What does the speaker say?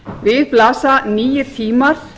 við blasa nýir tímar